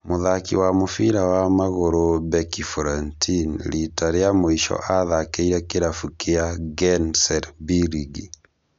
Mũthaki wa mũbĩra wa magũrũ Beki Florentin rĩta rĩa mũico athakĩre kĩrabu kĩa Genclerbirligi